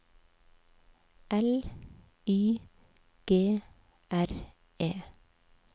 L Y G R E